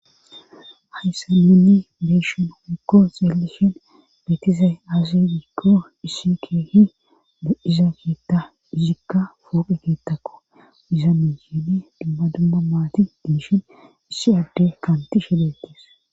Hayssa nunni beeshin woykko xeelishin beetizay aasidiikko issi keehi du7iza geetta izikka fooqi geettakko izanu yeedi dubma dumma maati dinishin issi adde kaanti shidettees.